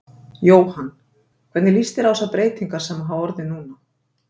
Jóhann: Hvernig lýst þér á þessar breytingar sem hafa orðið núna?